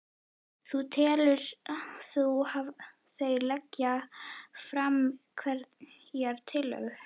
Þulur: Telur þú að þeir leggi fram einhverjar tillögur?